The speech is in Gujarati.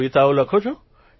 કવિતાઓ લખો છો